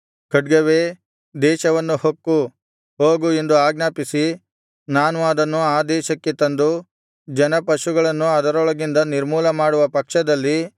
ಖಡ್ಗವೇ ದೇಶವನ್ನು ಹೊಕ್ಕು ಹೋಗು ಎಂದು ಆಜ್ಞಾಪಿಸಿ ನಾನು ಅದನ್ನು ಆ ದೇಶಕ್ಕೆ ತಂದು ಜನ ಪಶುಗಳನ್ನು ಅದರೊಳಗಿಂದ ನಿರ್ಮೂಲಮಾಡುವ ಪಕ್ಷದಲ್ಲಿ